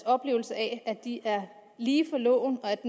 oplevelse af at de er lige for loven og at